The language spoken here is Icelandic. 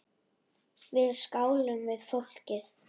Við skálum við fólkið.